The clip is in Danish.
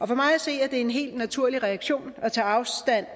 for mig at se er det en helt naturlig reaktion at tage afstand